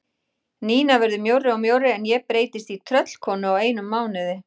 Nína verður mjórri og mjórri en ég breytist í tröllkonu á einum mánuði.